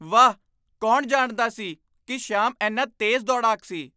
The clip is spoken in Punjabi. ਵਾਹ! ਕੌਣ ਜਾਣਦਾ ਸੀ ਕਿ ਸ਼ਿਆਮ ਇੰਨਾ ਤੇਜ਼ ਦੌੜਾਕ ਸੀ?